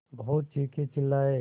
बहुत चीखेचिल्लाये